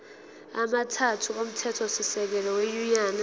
amathathu omthethosisekelo wenyunyane